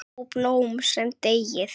Ó, blóm sem deyið!